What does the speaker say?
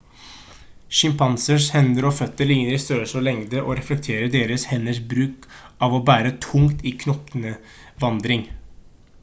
sjimpansers hender og føtter ligner i størrelse og lengde og reflekterer deres henders bruk av å bære tungt i knokevandring